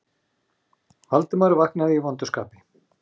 Valdimar vaknaði í vondu skapi.